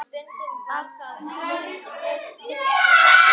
Afl mitt er senn þrotið.